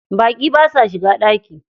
Baƙi basa shiga ɗaki.